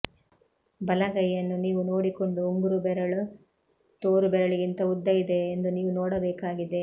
ಬಲಗೈಯನ್ನು ನೀವು ನೋಡಿಕೊಂಡು ಉಂಗುರು ಬೆರಳು ತೋರು ಬೆರಳಿಗಿಂತ ಉದ್ದ ಇದೆಯಾ ಎಂದು ನೀವು ನೋಡಬೇಕಾಗಿದೆ